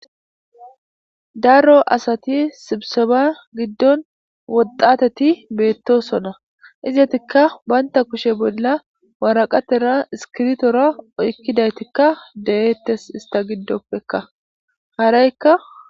Daro asati sibseba giddon woxateyo beetosona. Izetika ba kushe bolla woraqata iskiritora oykidaytika deetes.